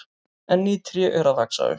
En ný tré eru að vaxa upp.